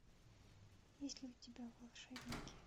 есть ли у тебя волшебники